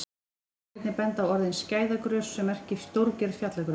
Hér má einnig benda á orðið skæðagrös sem merkir stórgerð fjallagrös.